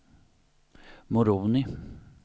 Moroni